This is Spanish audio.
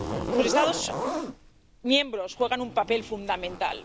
Los Estados miembros juegan un papel fundamental.